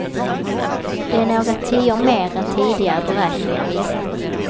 Det är några tior mer än tidigare beräkningar visat.